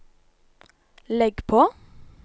legg på